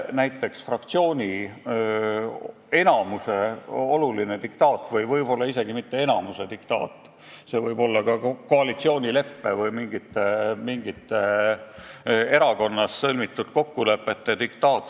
Kehtib fraktsiooni enamuse diktaat või võib-olla isegi mitte enamuse diktaat, see võib olla ka koalitsioonileppe või mingite erakonnas sõlmitud kokkulepete diktaat.